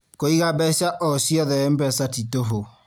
Kũiga mbeca o ciothe MPESA nĩ tũhũ